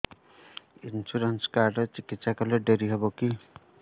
insurance card ରେ ଚିକିତ୍ସା କଲେ ଡେରି ହବକି